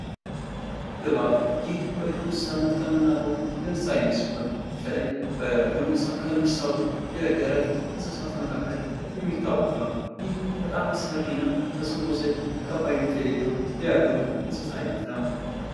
እባብ ይህ በዱር እንስሳት ከምናቀው የእንስሳ አይነት ሲሆን በተለይ በደረት ከሚሳቡ የዱር እንስሳት መካከል የሚታወቅ ነው። በጣም አስፈሪ እና በሰዎች ዘንድ ተቀባይነት የሌለው የዱር እንስሳ አይነት ነው።